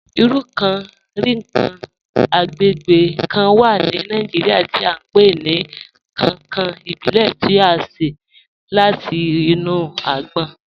Irú kán-rinkan agbègbè kán wà ní Nàìjíríà tí à n pe ni 'kankan ìbílè' tí à ṣe láti inú àgbòn.